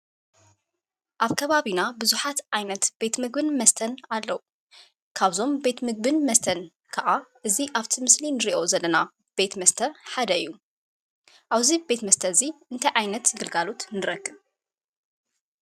ኣብ ከባቢና ብዙሓት ዓይነት ምግብን መስተን ኣለው፡፡ ካብዞም ምግብን መስተን ከዓ እዚ ኣብቲ ምስሊ ንሪኦ ዘለና ቤት መስተ ሓደ እዩ፡፡ ኣብዚ ቤት መስተ እዚ እንታይ ዓይነት ግልጋሎት ንረኽብ?